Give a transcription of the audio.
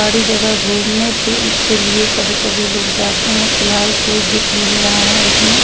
बड़ी जगह गुमने फिरने के लिए कभी कभी लोग जाते है फिलहाल कोई दिख नही रहा है इसमे।